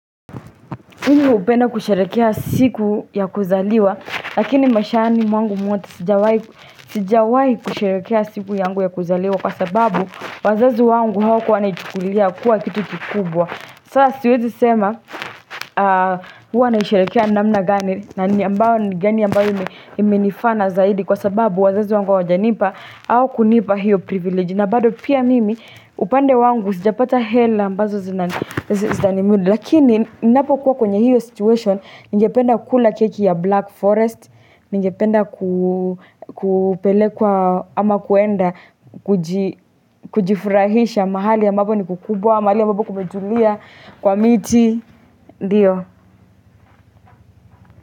Mi hupenda kusherehekea siku ya kuzaliwa Lakini maishani mwangu mwote sijawai kusherehekea siku yangu ya kuzaliwa Kwa sababu wazazi wangu hawakuwa wanaichukulia kuwa kitu kikubwa Sasa siwezi sema huwa naisharekea namna gani na ni ambao ni gani ambayo imenifana zaidi Kwa sababu wazazi wangu hawajanipa au kunipa hiyo privilege na bado pia mimi upande wangu sijapata hela ambazo zitanimudi Lakini ninapo kuwa kwenye hiyo situation, ningependa kula keki ya Black Forest, ningependa kupelekwa ama kuenda, kujifurahisha mahali ya ambapo ni kukubwa, mahali ya ambapo kumetulia kwa miti, ndiyo.